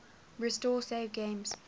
restore saved games